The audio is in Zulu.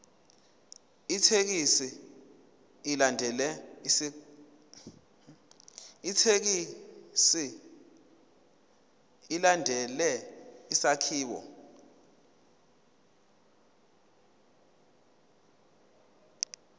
ithekisthi ilandele isakhiwo